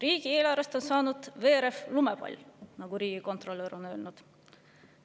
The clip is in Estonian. Riigieelarvest on saanud veerev lumepall, nagu riigikontrolör on öelnud.